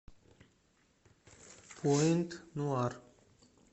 пуэнт нуар